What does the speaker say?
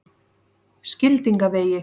Skildingavegi